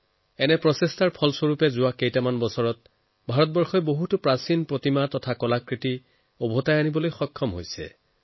এনে প্ৰচেষ্টাৰ কাৰণে বিগত বছৰসমূহত ভাৰতে বহু প্ৰতিমা আৰু শিল্পসামগ্ৰী ঘূৰাই আনিবলৈ সক্ষম হৈছে